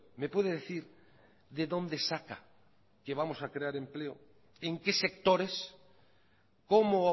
me puede decir de dónde saca que vamos a crear empleo en qué sectores cómo